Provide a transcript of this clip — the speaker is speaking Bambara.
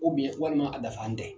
walima a dafan tɛ.